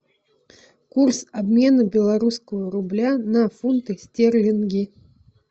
курс обмена белорусского рубля на фунты стерлинги